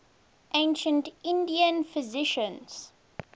ancient indian physicians